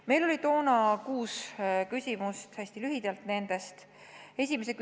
Meil oli toona kuus küsimust, tutvustan neid hästi lühidalt.